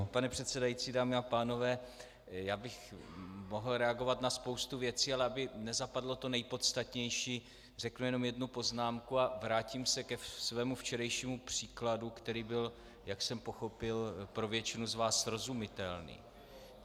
Vážený pane předsedající, dámy a pánové, já bych mohl reagovat na spoustu věcí, ale aby nezapadlo to nejpodstatnější, řeknu jenom jednu poznámku a vrátím se ke svému včerejšímu příkladu, který byl, jak jsem pochopil, pro většinu z vás srozumitelný.